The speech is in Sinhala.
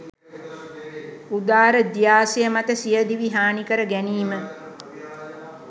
උදාරධ්‍යාශය මත සිය දිවි හානිකර ගැනීම්